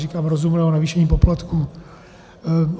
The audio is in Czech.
Říkám: rozumného navýšení poplatků.